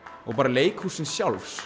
og bara leikhússins sjálfs